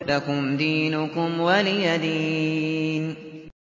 لَكُمْ دِينُكُمْ وَلِيَ دِينِ